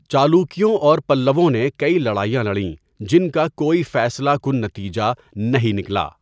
چالوکیوں اور پلّووں نے کئی لڑائیاں لڑیں جن کا کوئی فیصلہ کُن نتیجہ نہیں نکلا۔